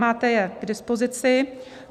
Máte jej k dispozici.